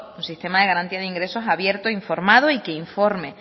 un sistema de garantía de ingresos abierto informado y que informe